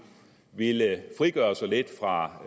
ville frigøre sig lidt fra